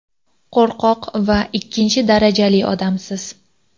qo‘rqoq va ikkinchi darajali odamsiz.